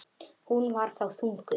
Hún var þá þunguð.